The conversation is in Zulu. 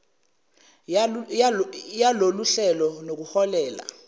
yalolu hlelo nokuholele